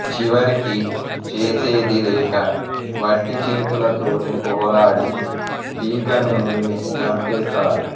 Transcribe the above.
చివరికి చేసేది లేక వట్టి చేతులతోనే పోరాడి పీకను నులిమి చంపేస్తాడు